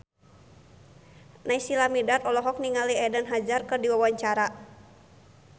Naysila Mirdad olohok ningali Eden Hazard keur diwawancara